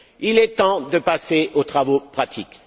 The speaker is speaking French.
Il est temps de passer aux travaux pratiques.